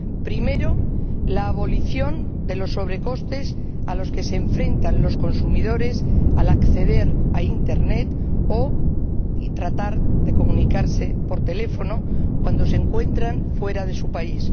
Primero, la abolición de los sobrecostes a los que se enfrentan los consumidores al acceder a internet o tratar de comunicarse por teléfono cuando se encuentran fuera de su país.